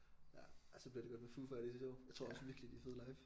Ja ej så bliver det godt med Foo Fighters i år jeg tror også virkelig de er fede live